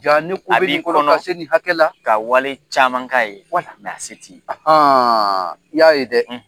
Ja ne ko bɛ ab'i kɔnɔ kɔnɔ kase nin hakɛla ka wale caman k'a ye wala nka se t'i ye i y'a ye dɛ